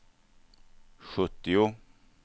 sjuttio